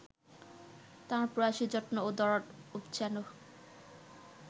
তাঁর প্রয়াসে যত্ন ও দরদ উপচানো